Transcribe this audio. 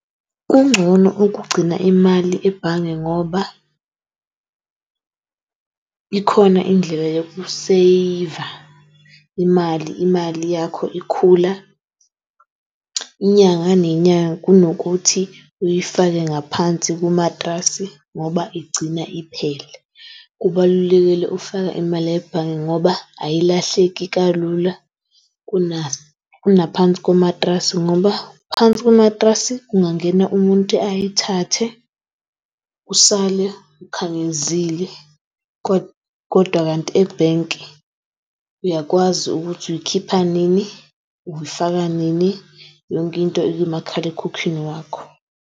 Kungcono okugcina imali ebhange ngoba ikhona indlela yoku-saver imali. Imali yakho ikhula, inyanga nenyanga kunokuthi uyifake ngaphansi kumatrasi ngoba igcina iphela. Kubalulekile ufaka imali ebhange ngoba ayilahleki kalula kuna kunaphansi komatrasi ngoba phansi komatrasi kungena muntu ayithathe usale akhangezile . Kodwa kanti ebhenki uyakwazi ukuthi uyikhipha nini, uyifaka nini yonkinto ikumakhalekhukhwini wakho.